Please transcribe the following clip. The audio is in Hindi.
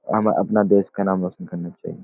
हमें अपना देश का नाम रोशन करना चाहिए।